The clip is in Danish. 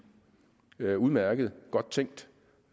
det er udmærket og godt tænkt